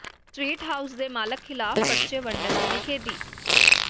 sweet house ਦੇ ਮਾਲਕ ਿਖ਼ਲਾਫ਼ ਪਰਚੇ ਵੰਡਣ ਦੀ ਨਿਖੇਧੀ